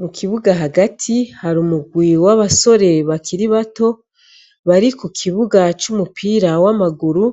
Mu kibuga hagati har' umugwi w' abasore bakiri bato, bari kukibuga c' umupira w' amaguru